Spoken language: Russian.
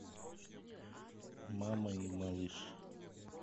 мама и малыш